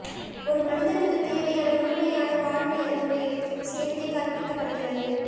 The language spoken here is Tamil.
ஒரு மனிதனுக்கு தேவையான முழுமையான வாழ்வியல் முறையும் சேர்ந்தே கற்பிக்கபடுகிறது